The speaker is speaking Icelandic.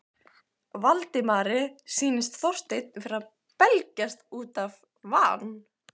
Valdimari sýndist Þorsteinn vera að belgjast út af van